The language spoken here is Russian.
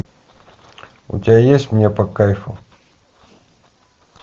у тебя есть мне по кайфу